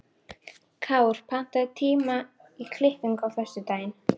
Kár, pantaðu tíma í klippingu á föstudaginn.